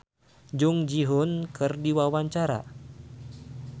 Iwan Fals olohok ningali Jung Ji Hoon keur diwawancara